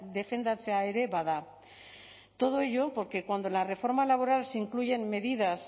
defendatzea ere bada todo ello porque cuando en la reforma laboral se incluyen medidas